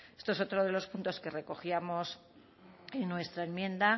esto es otro de los puntos que recogíamos en nuestra enmienda